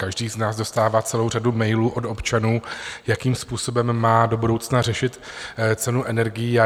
Každý z nás dostává celou řadu mailů od občanů, jakým způsobem má do budoucna řešit cenu energií.